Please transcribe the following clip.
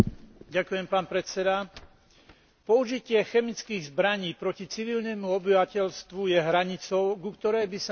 Použitie chemických zbraní proti civilnému obyvateľstvu je hranicou, ku ktorej by sa nemal priblížiť nijaký režim.